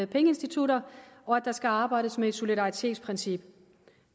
pengeinstitutter og at der skal arbejdes med et solidaritetsprincip